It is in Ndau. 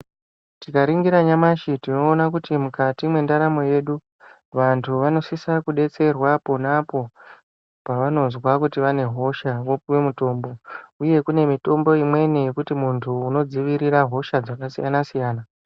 Tikaringira nyamashi tinoona kuti, mukati mwendaramo yedu, vantu vanosisa kudetserwa pona apo ,pavanozwa kuti vane hosha vopuwe mitombo, uye kune mitombo imweni yekuti muntu unodzivirira hosha dzakasiyana-siyana.